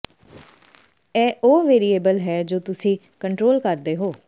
ਇਹ ਉਹ ਵੇਰੀਏਬਲ ਹੈ ਜੋ ਤੁਸੀਂ ਕੰਟਰੋਲ ਕਰਦੇ ਹੋ